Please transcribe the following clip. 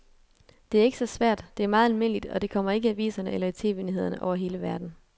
Det er ikke så svært, det er meget almindeligt, og det kommer ikke i aviserne eller i tv-nyhederne over hele verden.